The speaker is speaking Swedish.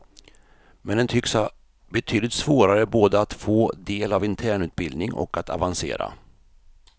Men den tycks ha betydligt svårare både att få del av internutbildning och att avancera.